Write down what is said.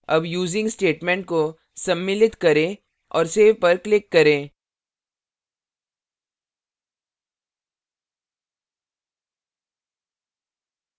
अब using statement को सम्मिलित करें और save पर click करें